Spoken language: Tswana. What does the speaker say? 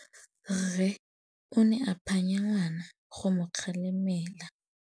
Rre o ne a phanya ngwana go mo galemela.